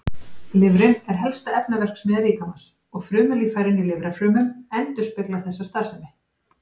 Lifrin er helsta efnaverksmiðja líkamans og frumulíffærin í lifrarfrumum endurspeglar þessa starfsemi.